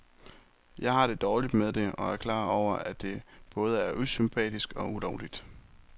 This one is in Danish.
Jeg har det dårligt med det og er klar over, at det både er usympatisk og ulovligt.